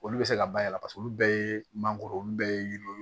Olu bɛ se ka bayɛlɛma olu bɛɛ ye mangoro olu bɛɛ ye yiri ye